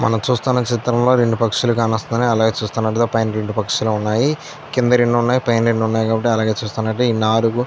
మనం చూస్తున్న చిత్రంలో రెండు పక్షులు కానొస్తున్నాయ్. అలాగే చూస్తున్నట్లైతే రెండు పక్షులు ఉన్నాయ్. కింద రెండు ఉన్నాయ్. పైన ఎన్నోనయో అలాగే చూస్తున్నట్లైతే ఈ నాలుగు --